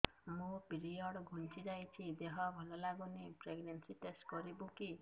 ମୋ ପିରିଅଡ଼ ଘୁଞ୍ଚି ଯାଇଛି ଦେହ ଭଲ ଲାଗୁନି ପ୍ରେଗ୍ନନ୍ସି ଟେଷ୍ଟ କରିବୁ କି